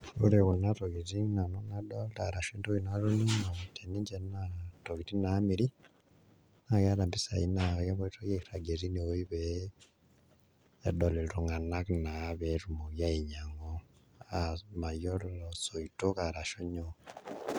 Ore kuna tokitin nanu nadolta arashu entoki natoning'o teninche naa ntokitin naamiri naa keeta mpisai naa kepoitoi airagie tinewuei pee edol iltung'anak naa pee etumoki ainyiang'u, mayiolo isoitok arashu nyoo.